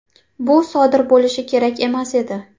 Bu sodir bo‘lishi kerak emas edi.